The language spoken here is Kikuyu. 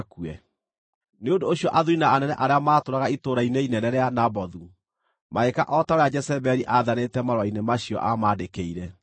Nĩ ũndũ ũcio athuuri na anene arĩa maatũũraga itũũra-inĩ inene rĩa Nabothu magĩĩka o ta ũrĩa Jezebeli aathanĩte marũa-inĩ macio aamaandĩkĩire.